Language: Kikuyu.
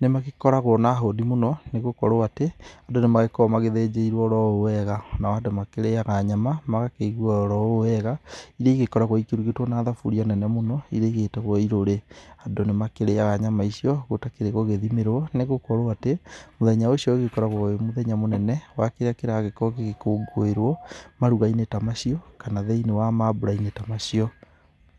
nĩmagĩkoragwo na hũni mũno nĩgũkorwo atĩ andũ nĩmagĩkoragwo magĩthĩnjĩirwo o ũũ wega. Nao andũ makĩrĩaga nyama magakĩigua oro ũũ wega iria ĩgĩkoragwo irugĩtwo na thaburia nene mũno iria igĩtagwo irũrĩ. Andũ nĩmakĩrĩaga nyama icio gũtakĩrĩ gũgĩthimĩrwo nĩgũkorwo atĩ, mũthenya ũcio ũgĩkoragwo wĩ mũthenya mũnene, wa kĩrĩa kĩragĩkorwo gĩgĩkũngũĩrwo maruga-inĩ ta macio, kana thĩinĩ wa mambura-inĩ ta macio.